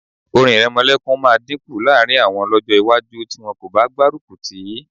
Orin ìrẹmọlẹ́kun máa dínkù láàrín àwọn lọ́jọ́ iwájú tí wọn kò bá gbárùkù tì í